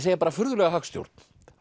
segja bara furðulega hagstjórn